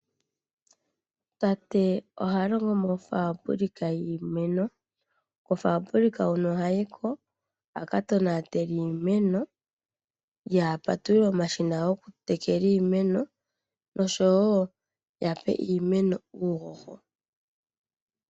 Tate oha longo mofaambulika yiimeno, kofaambulaka hoka ohayi ko a ka tonatele iimeno, ye a patulule omashina goku tekela iimeno oshowo ya pe iimeno uuhoho.